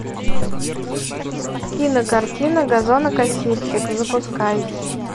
кинокартина газонокосильщик запускай